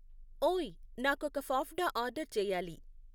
ఓయ్ నాకొక ఫాఫ్డా ఆర్డర్ చేయాలి